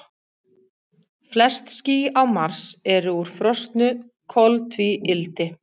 Flest ský á Mars eru úr frosnu koltvíildi.